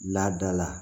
Laada la